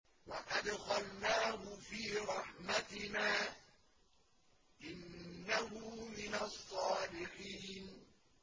وَأَدْخَلْنَاهُ فِي رَحْمَتِنَا ۖ إِنَّهُ مِنَ الصَّالِحِينَ